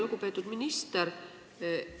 Lugupeetud minister!